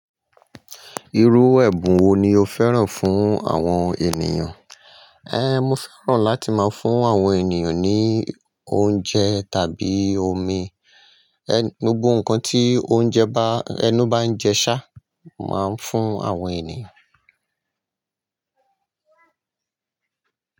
Irú ẹ̀bùn wo ni o fẹ́ràn fún àwọn ènìyàn? Ehn, mo fẹ́ràn láti máa fún àwọn ènìyàn ní oúnjẹ tàbí omi. Ehn, gbogbo nǹkan tí oúnjẹ bá, ẹnu bá ń jẹ ṣá, màá ń fún àwọn ènìyàn.